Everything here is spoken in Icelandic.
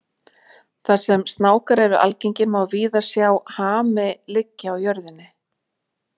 Þar sem snákar eru algengir má víða sjá hami liggja á jörðinni.